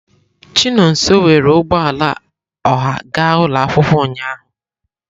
Chinonso were ụgbọ ala ọha ga ụlọ akwụkwọ ụnyahụ.